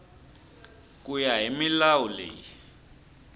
ku ya hi milawu leyi